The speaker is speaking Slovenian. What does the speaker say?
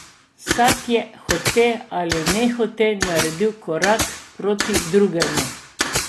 Vsak je hote ali nehote naredil korak proti drugemu.